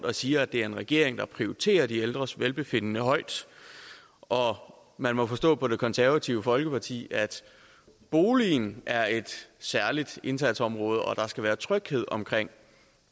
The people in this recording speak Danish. og siger at det er en regering der prioriterer de ældres velbefindende højt og man må forstå på det konservative folkeparti at boligen er et særligt indsatsområde og at der skal være tryghed omkring